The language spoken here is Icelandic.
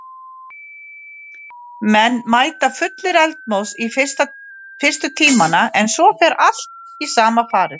Menn mæta fullir eldmóðs í fyrstu tímana en svo fer allt í sama farið.